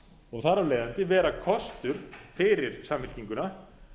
og þar af leiðandi vera kostur fyrir samfylkinguna